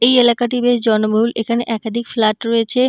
এই এলাকাটি বেশ জনবহুল এখানে একাধিক ফ্ল্যাট রয়েছে--